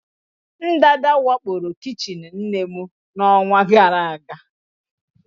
Ndanda wakporo kichin nne m n'ọnwa gara aga.